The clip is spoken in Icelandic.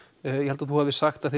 ég held þú hafir sagt að